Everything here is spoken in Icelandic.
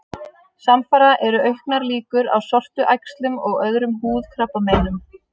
Samfara eru auknar líkur á sortuæxlum og öðrum húðkrabbameinum.